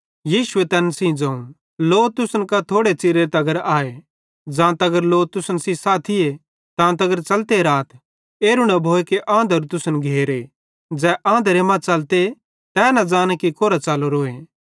यीशुए तैन सेइं ज़ोवं लो तुसन कां थोड़े च़िरे तगरे आए ज़ां तगर लो तुसन साथीए तांतगर च़लते राथ एरू न भोए आंधरू तुसन घेरे ज़ै आंधारे मां च़लते तै न ज़ाने तै कोरां च़लरोए